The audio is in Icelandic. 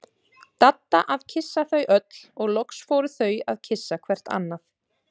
Dadda að kyssa þau öll og loks fóru þau að kyssa hvert annað.